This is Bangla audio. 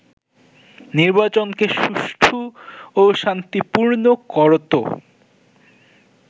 নির্বাচনকে সুষ্ঠু ও শান্তিপূর্ণ করত